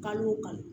Kalo o kalo